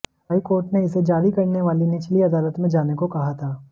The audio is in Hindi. हाई कोर्ट ने इसे जारी करने वाली निचली अदालत में जाने को कहा था